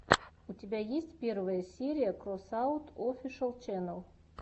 у тебя есть первая серия кросаут офишэл ченел